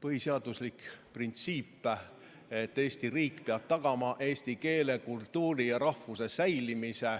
Põhiseaduslik printsiip, et Eesti riik peab tagama eesti keele, kultuuri ja rahvuse säilimise,